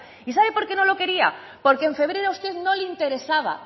y sabe porque no lo quería porque en febrero a usted no le interesaba